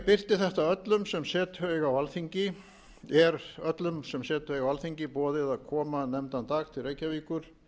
birti þetta er öllum sem setu eiga á alþingi boðið að koma nefndan dag til reykjavíkur